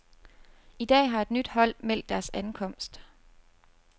I dag har et nyt hold meldt deres ankomst.